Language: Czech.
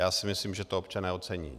Já si myslím, že to občané ocení.